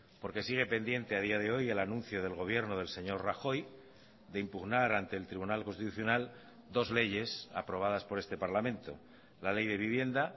porque sigue pendiente a día de hoy el anuncio del gobierno del señor rajoy de impugnar ante el tribunal constitucional dos leyes aprobadas por este parlamento la ley de vivienda